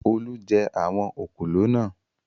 Olú jẹ àwọn òkòló náà.